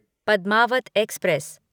Padmaavat express